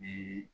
Bi